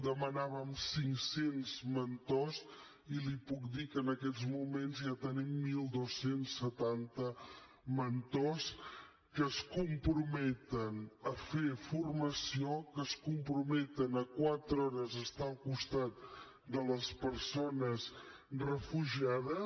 demanàvem cinc cents mentors i li puc dir que en aquests moments ja tenim dotze setanta mentors que es comprometen a fer formació que es comprometen a quatre hores estar al costat de les persones refugiades